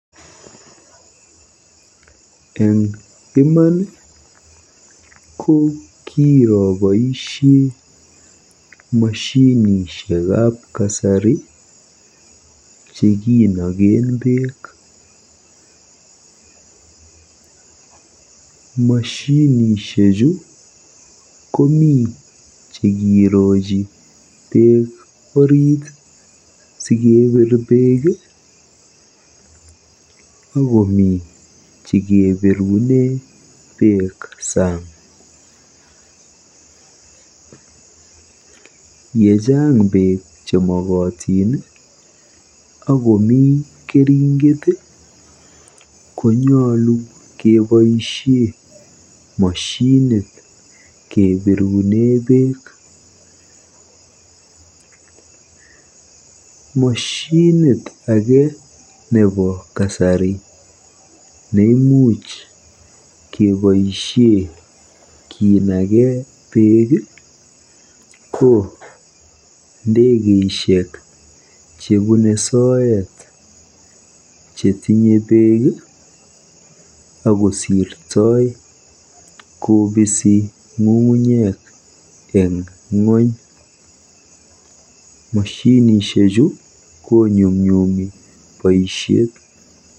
Eng iman ko kiraboisie moshinishekab kasari chekinoken beek. Moshinishechu komi chekerochi beek orit sikebiir beek akomi chekebirune beek saang. Yechang beek chemokotin akomi keringet konyolu keboisie moshinit kebirune beek. Moshinit age nebo kasari neimuch keboisie kinage beek ko ndekeisiek chebune soet chetinye beek akosirtoi kobisi ng'ung'unyek eng ng'ony. Moshinishechu konyumnyumi boisiet.